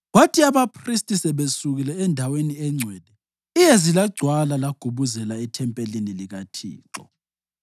Kwathi abaphristi sebesukile eNdaweni eNgcwele, iyezi lagcwala lagubuzela ethempelini likaThixo.